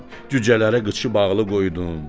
Cücələrə qıçı bağlı qoydum.